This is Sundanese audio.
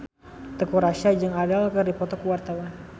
Teuku Rassya jeung Adele keur dipoto ku wartawan